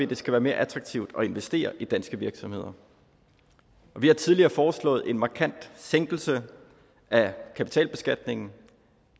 det skal være mere attraktivt at investere i danske virksomheder vi har tidligere foreslået en markant sænkelse af kapitalbeskatningen og